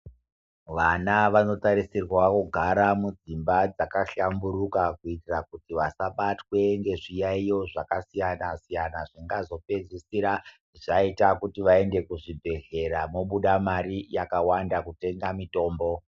Vana vanosisirwa kugara mudzimba dzakahlamburuka kuitira kuti vasabatwe nezviyayo zvakasiyana-siyana zvakazopedzisira kuti vaende kuzvibhedhlera vobuda Mari yakawanda kutenga mitombo.